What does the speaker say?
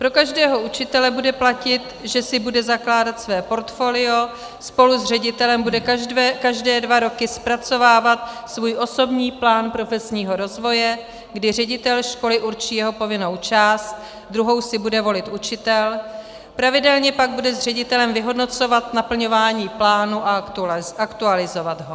Pro každého učitele bude platit, že si bude zakládat své portfolio, spolu s ředitelem bude každé dva roky zpracovávat svůj osobní plán profesního rozvoje, kdy ředitel školy určí jeho povinnou část, druhou si bude volit učitel, pravidelně pak bude s ředitelem vyhodnocovat naplňování plánu a aktualizovat ho.